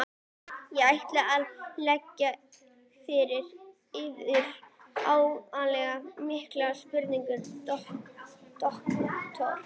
Ég ætla að leggja fyrir yður ákaflega mikilvæga spurningu, doktor.